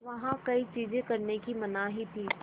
वहाँ कई चीज़ें करने की मनाही थी